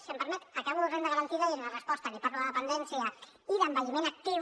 si em permet acabo renda garantida i en la resposta li parlo de dependència i d’envelliment actiu